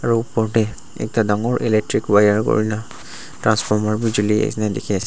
aru opor tey ekta dangor electric wire kurina transformer bi juli nisna dikhiase--